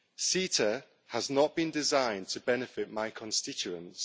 CETA has not been designed to benefit my constituents.